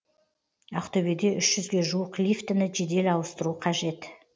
ақтөбеде үш жүзге жуық лифтіні жедел ауыстыру қажет